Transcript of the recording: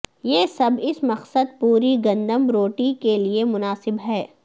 یہ سب اس مقصد پوری گندم روٹی کے لئے مناسب ہے